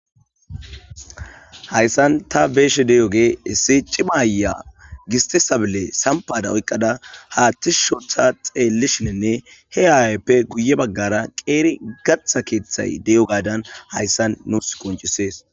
hayssan ta be7eshe de7o gee issi cimaya gistisabile sampada oyqqada haaththi shotha xeellishininne he ayayppe guye baggara qeeri gatha keeththay de7o gadan hayssan nuus qoncisees